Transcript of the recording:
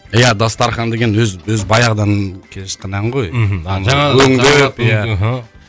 иә дастархан деген өзі баяғыдан келе жатқан ән ғой мхм